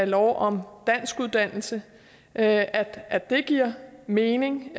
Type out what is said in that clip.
lov om danskuddannelse at at det giver mening